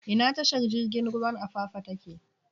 Ina tashar jirigin ruwan Apapa take?